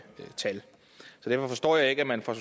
tal så derfor forstår jeg ikke at man fra